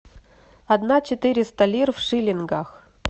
одна четыреста лир в шиллингах